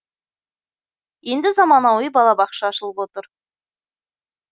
енді заманауи балабақша ашылып отыр